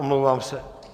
Omlouvám se.